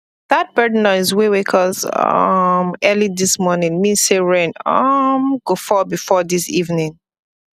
that bird noise wey wake us um early this morning mean say rain um go fall before evening